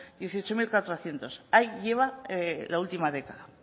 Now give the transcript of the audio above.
dieciocho mil cuatrocientos ahí lleva la última década